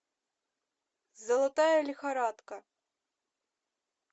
золотая лихорадка